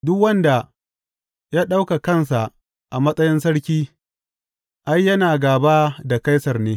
Duk wanda ya ɗauka kansa a matsayin sarki, ai, yana gāba da Kaisar ne.